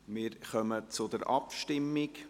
Wir kommen zur Abstimmung.